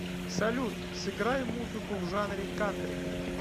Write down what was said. салют сыграй музыку в жанре кантри